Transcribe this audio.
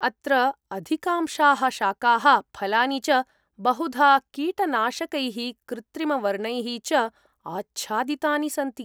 अत्र अधिकांशाः शाकाः फलानि च बहुधा कीटनाशकैः कृत्रिमवर्णैः च आच्छादितानि सन्ति।